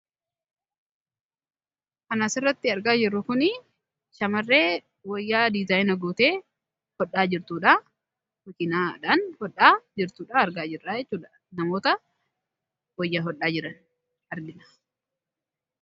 Kan asirratti argaa jirru kun shamarree wayyaa diizaayina gootee hodhaa jirtudha. Makiinaadhaan kan hodhaa jirtu argina akkasuma namoota wayyaa hodhaa jiran argina.